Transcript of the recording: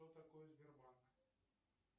что такое сбербанк